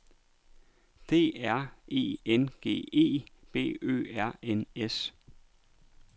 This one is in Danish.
D R E N G E B Ø R N S